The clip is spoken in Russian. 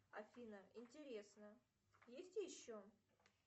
афина интересно есть еще